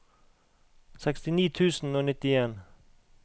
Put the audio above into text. sekstini tusen og nittien